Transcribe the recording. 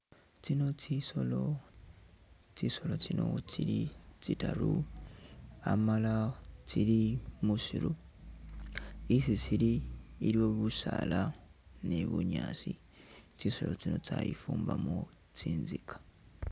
Tsino tsisolo ,tsisolo tsino tsili tsitaru amala tsili musiru ,isi tsili iliwo busaala ni bunyaasi, tsisolo tsino tsayifumbamo tsinzika